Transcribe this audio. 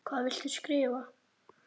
Hvað viltu skrifa?